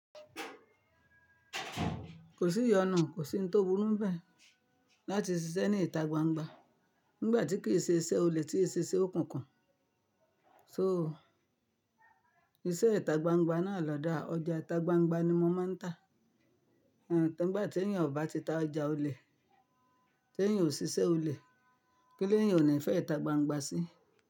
Kò sí ìyọnu, kò sí ohun tó burú bẹ́ẹ̀ láti ṣiṣẹ́ ní ìta gbangba nígbà tí kì í ṣe iṣẹ́ olè tí ẹ ṣe okùnkan. So iṣẹ́ ìta gbangba náà lòda ọjà ìta gbangba ni mo máa ń tà. Àń, ngbà tí èèyàn ò bá ti ta ọjà olè, tí èèyàn ò ṣiṣẹ́ olè, kí ni eeyan ò ní fẹ́ ìta gbangba sí?